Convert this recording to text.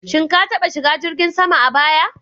Shin ka taɓa shiga jirgin sama a baya?